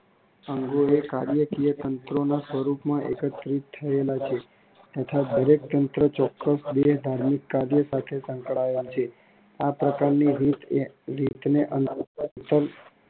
અંગો એ કાર્યકીય તંત્રોના સ્વરૂપમાં એકત્રિત થયેલા છે તથા દરેક તંત્ર ચોક્કસ દેહધાર્મિક કર્યો સાથે સંકળાયેલ છે. આ પ્રકારની રીત ને